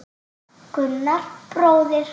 Gunnar bróðir.